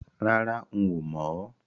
Rárá, n ò mọ̀ o